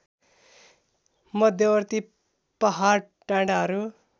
मध्यवर्ती पहाड डाँडाहरू